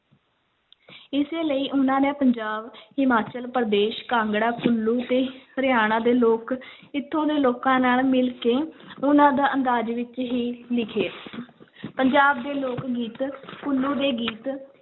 ਇਸੇ ਲਈ ਉਹਨਾਂ ਨੇ ਪੰਜਾਬ, ਹਿਮਾਚਲ ਪ੍ਰਦੇਸ਼, ਕਾਂਗੜਾ ਕੁੱਲੂ ਤੇ ਹਰਿਆਣਾ ਦੇ ਲੋਕ ਇੱਥੋਂ ਦੇ ਲੋਕਾਂ ਨਾਲ ਮਿਲ ਕੇ ਉਹਨਾਂ ਦਾ ਅੰਦਾਜ਼ ਵਿੱਚ ਹੀ ਲਿਖੇ ਪੰਜਾਬ ਦੇ ਲੋਕ-ਗੀਤ ਕੁੱਲੂ ਦੇ ਗੀਤ,